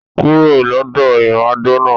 Kúrò lọ́dọ̀ ìmàdò náà